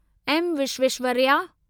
M Visvesvaraya